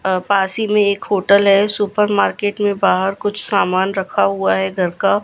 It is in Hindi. अ पास ही में एक होटल है सुपर मार्केट में बाहर कुछ सामान रखा हुआ है घर का --